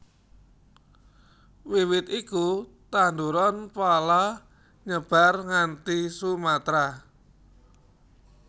Wiwit iku tanduran pala nyebar nganti Sumatra